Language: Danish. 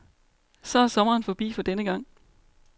Så er sommeren forbi for denne gang.